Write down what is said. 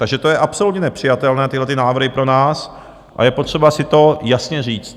Takže to je absolutně nepřijatelné, tyhlety návrhy pro nás, a je potřeba si to jasně říct.